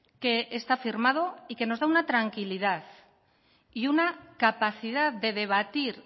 que está firmado y que nos da una tranquilidad y una capacidad de debatir